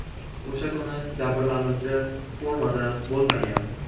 O‘sha kuni jabrlanuvchi formada bo‘lmagan.